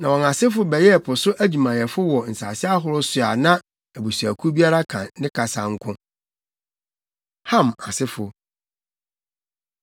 Na wɔn asefo bɛyɛɛ po so adwumayɛfo wɔ nsase ahorow so a na abusuakuw biara ka ne kasa nko. Ham Asefo